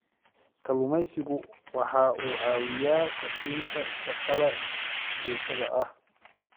Kalluumaysigu waxa uu caawiyaa kordhinta shaqada joogtada ah.